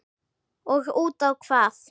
Og útá hvað?